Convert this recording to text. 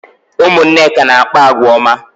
Ụmụ Nneka na-akpa àgwà ọma